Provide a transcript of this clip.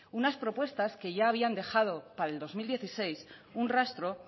unas propuestas que ya habían dejado para el dos mil dieciséis un rastro